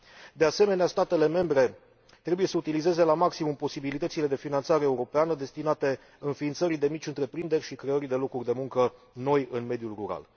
De asemenea, statele membre trebuie să utilizeze la maximum posibilitățile de finanțare europeană destinate înființării de mici întreprinderi și creării de locuri de muncă noi în mediul rural.